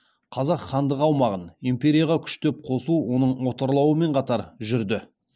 қазақ хандығы аумағын империяға күштеп қосу оның отарлануымен қатар жүрді